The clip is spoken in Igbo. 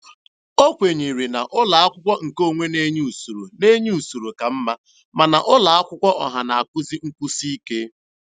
O kwenyere na ụlọakwụkwọ nke onwe na-enye usoro na-enye usoro ka mma, mana ụlọakwụkwọ ọha na-akụzi nkwụsị ike.